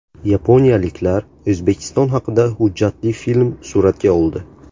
Yaponiyaliklar O‘zbekiston haqida hujjatli film suratga oldi.